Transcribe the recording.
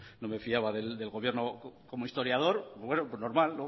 no me fiaba del gobierno como historiador bueno pues normal